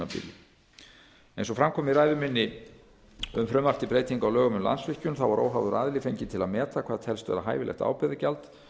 gjaldtímabili eins og fram kom í ræðu minni um frumvarp um landsvirkjun var óháður aðili fenginn til að meta hvað telst vera hæfilegt ábyrgðargjald